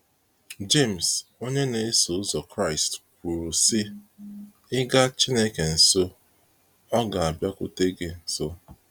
James, onye na eso ụzọ Kraịst kwuru sị,ị ga chineke nso, ọ ga abiakwute gị nso.